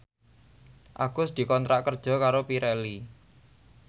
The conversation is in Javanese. Agus dikontrak kerja karo Pirelli